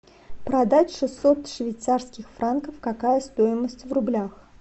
продать шестьсот швейцарских франков какая стоимость в рублях